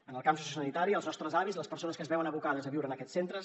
en el camp sociosanitari els nostres avis les persones que es veuen abocades a viure en aquests centres